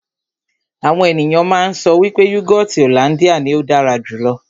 Àwọn ènìyàn má ń sọ wípé yúgọọ́ti hollandia ní ó dára jù lọ.